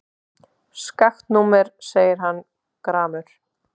Skakkt númer segir hann gramur.